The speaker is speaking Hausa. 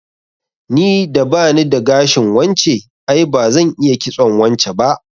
Ni da bani da gashin wance, ai bazan iya kitson wance ba